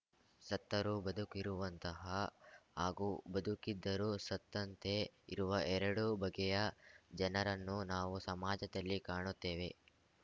ಸತ್ತರೂ ಬದುಕಿರುವಂತಹ ಹಾಗೂ ಬದುಕಿದ್ದರೂ ಸತ್ತಂತೆ ಇರುವ ಎರಡು ಬಗೆಯ ಜನರನ್ನು ನಾವು ಸಮಾಜದಲ್ಲಿ ಕಾಣುತ್ತೇವೆ